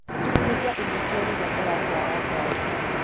Hĩnga ĩcĩcĩo rĩrĩa ũratwara ngarĩ.